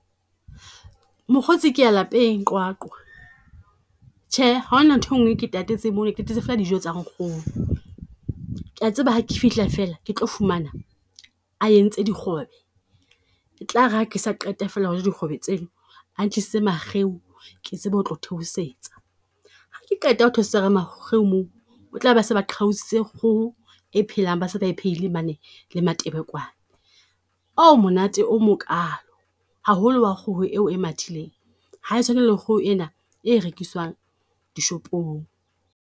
Mokgotsi ke ya lapeng Qwaqwa, tjhe ha hona nthwe ngwe e ke tatetseng mona ke tatetse fela dijo tsa nkgono. Ke a tseba ha ke fihla fela ke tlo fumana a entse dikgobe. E tlare ha ke sa qete fela ho ja dikgobe tseno, a ntlisitse makgeu ke tsebe ho tlo theosetsa. Ha ke qeta ho theosetsa ka makgeu moo, o tla be se ba qhaositse kgoho e phelang, ba se ba iphehile mane le matebelekwane. Monate o mokalo, haholo wa kgoho e o e mathileng ha e tshwane le kgoho ena e rekiswang dishopong.